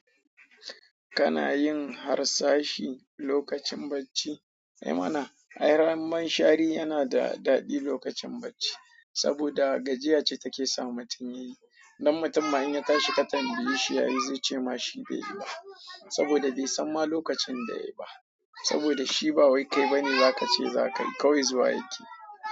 Kana yin harsashi lokacin bacci? Ai mana, ai ran man shari yana da daɗi lokacin bacci saboda gajiya ce take sa mutum yayi. Nan mutum ma in ya tashi ka tambayeshi ya yi zai ce ma shi bai yi ba saboda bai san ma lokacin da yayi ba saboda shi ba wai kai ba ne za ka ce za ka yi. Ka wai zuwa yake.